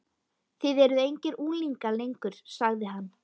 Þið eruð engir unglingar lengur sagði hann.